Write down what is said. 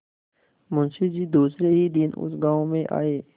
मुँशी जी दूसरे ही दिन उस गॉँव में आये